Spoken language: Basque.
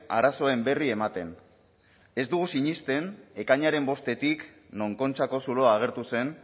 arazoen berri ematen ez dugu sinesten ekainaren bostetik non kontxako zuloa agertu zen